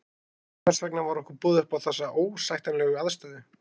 Hvers vegna var okkur boðið upp á þessa óásættanlegu aðstöðu?